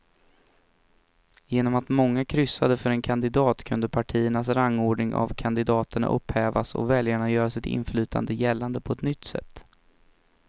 Genom att många kryssade för en kandidat kunde partiernas rangordning av kandidaterna upphävas och väljarna göra sitt inflytande gällande på ett nytt sätt.